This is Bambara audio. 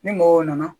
Ni mɔgɔw nana